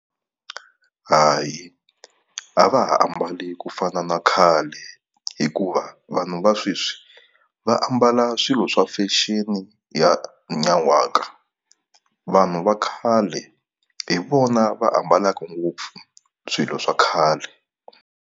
Hayi a va ha ambali ku fana na khale hikuva vanhu va sweswi va ambala swilo swa fashion ya nyan'waka. Vanhu va khale hi vona va ambalaka ngopfu swilo swa khale.